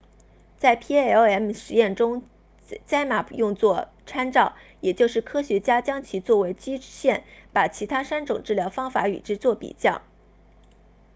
在 palm 实验中 zmapp 用作参照也就是科学家将其作为基线把其他三种治疗方法与之作比较